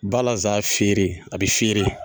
Balasan fieere a bɛ fieere.